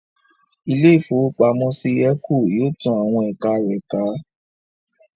Ilé-ìfowópamọ́sí Eco yóò tán àwọn ẹ̀ka rẹ̀ ká